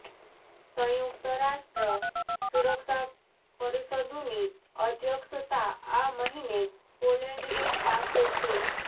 સંયુક્ત રાષ્ટ્ર સુરક્ષા પરિષદૃની અધ્યક્ષતા આ મહિને પોલેન્ડની પાસે છે